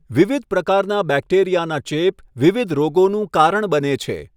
વિવિધ પ્રકારના બેક્ટેરિયાના ચેપ વિવિધ રોગોનું કારણ બને છે.